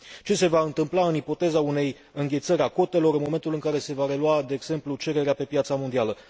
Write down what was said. Ce se va întâmpla în ipoteza unei înghețări a cotelor în momentul în care se va relua, de exemplu, cererea pe piața mondială?